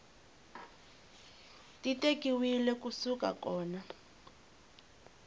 ti tekiwile ku suka kona